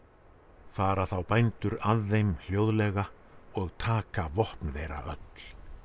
fara þá bændur að þeim hljóðlega og taka vopn þeirra öll